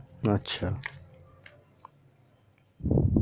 আচ্ছা